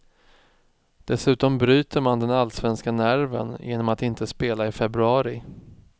Dessutom bryter man den allsvenska nerven genom att inte spela i februari.